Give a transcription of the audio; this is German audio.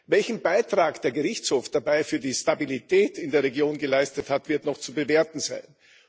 Welchen Beitrag der Gerichtshof dabei für die Stabilität in der Region geleistet hat, wird noch zu bewerten sein.